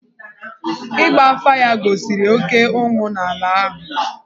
Ịgba afà ya gosiri oké ụnwụ n’ala ahụ.